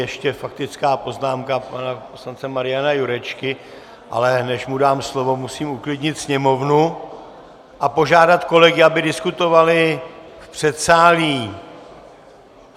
Ještě faktická poznámka pana poslance Mariana Jurečky, ale než mu dám slovo, musím uklidnit sněmovnu a požádat kolegy, aby diskutovali v předsálí.